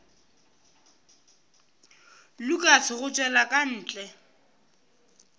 lukas go tšwela ka ntle